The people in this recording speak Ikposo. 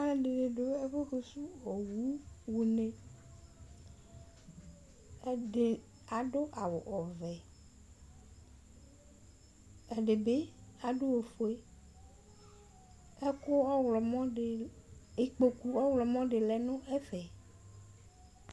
Alʋ ɛdini dʋ ɛfʋ fʋsʋ owʋ xʋne ɛdi adʋ awʋ ɔvɛ ɛdibi adʋ ofue ɔkʋ ikpokʋ ɔwlɔmɔdi lɛnʋ ɛfɛ